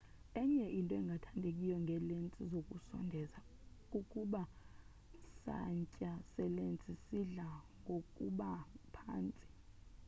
enye into engathandekiyo ngeelensi zokusondeza kukuba santya selensi sidla ngokuba phantsi